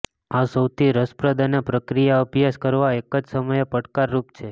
આ સૌથી રસપ્રદ અને પ્રક્રિયા અભ્યાસ કરવા એક જ સમયે પડકારરૂપ છે